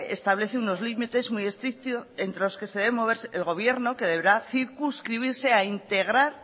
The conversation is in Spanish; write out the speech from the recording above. establece unos límites muy estrictos entre los que se deberá mover el gobierno que deberá circunscribirse a integrar